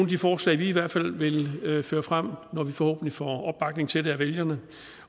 de forslag vi i hvert fald vil føre frem når vi forhåbentlig får opbakning til det af vælgerne